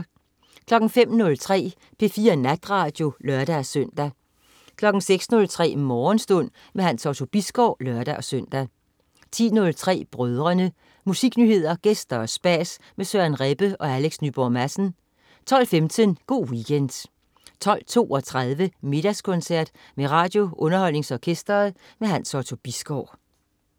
05.03 P4 Natradio (lør-søn) 06.03 Morgenstund. Hans Otto Bisgaard (lør-søn) 10.03 Brødrene. Musiknyheder, gæster og spas med Søren Rebbe og Alex Nyborg Madsen 12.15 Go' Weekend 12.32 Middagskoncert med RadioUnderholdningsOrkestret. Hans Otto Bisgaard